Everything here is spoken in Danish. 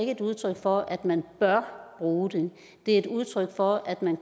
et udtryk for at man bør bruge det det er et udtryk for at man